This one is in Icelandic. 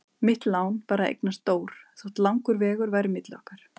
Mitt lán var að eignast Dór þótt langur vegur væri milli okkar.